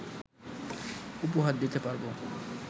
উপহার দিতে পারবো